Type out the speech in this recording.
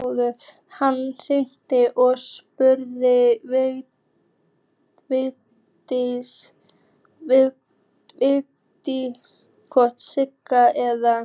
Hann hringdi og spurði Vigdísi hvort Sigga eða